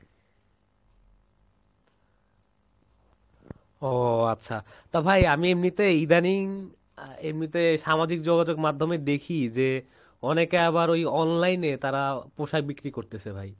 ওহ আচ্ছা, তো ভাই আমি এমনিতে ইদানিং এমনিতে সামাজিক যোগাযোগ মাধ্যমে দেখি যে অনেকে আবার ওই online এ তারা পোশাক বিক্রি করতেছে ভাই।